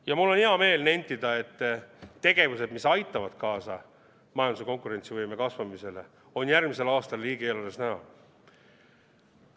Ja mul on hea meel nentida, et tegevused, mis aitavad kaasa majanduse konkurentsivõime kasvamisele, on järgmisel aastal riigieelarves näha.